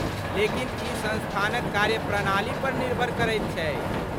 लेकिन ई संस्थानक कार्यप्रणाली पर निर्भर करैत छै।